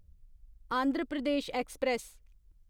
Andhra Pradesh express